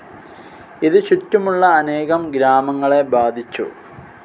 ഇത് ചുറ്റുമുള്ള അനേകം ഗ്രാമങ്ങളെ ബാധിച്ചു.